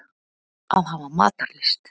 Að hafa matarlyst.